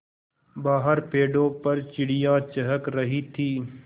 बाहर पेड़ों पर चिड़ियाँ चहक रही थीं